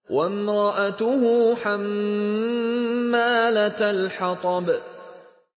وَامْرَأَتُهُ حَمَّالَةَ الْحَطَبِ